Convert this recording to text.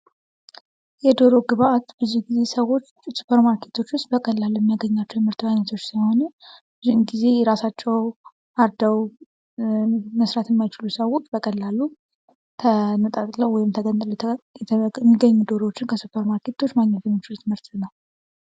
የዶሮ ግብአት ብዙ ጊዜ ሰዎች ሱፐር ማርኬቶች ውስጥ በቀላል የሚያገኟቸው የምርት አይነቶች ሲሆኑ ብዙ ጊዜ ራሳቸው አርደው መስራት የማይችሉ ሰዎች በቀላሉ ተነጣጥለው ሚገኙ ዶሮዎችን ከሱፐር ማርኬቶች ማግኘት ሚችሉት ምርት ነው ።